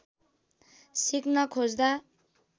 सिक्न खोज्दा